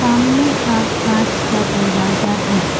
सामने का कांच का दरवाजा है।